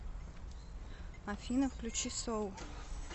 афина включи соу